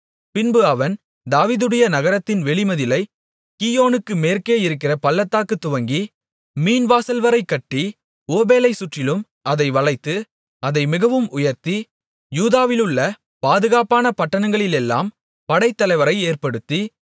பின்பு அவன் தாவீதுடைய நகரத்தின் வெளி மதிலைக் கீயோனுக்கு மேற்கேயிருக்கிற பள்ளத்தாக்கு துவங்கி மீன்வாசல்வரை கட்டி ஓபேலைச் சுற்றிலும் அதை வளைத்து அதை மிகவும் உயர்த்தி யூதாவிலுள்ள பாதுகாப்பான பட்டணங்களிலெல்லாம் படைத்தலைவரை ஏற்படுத்தி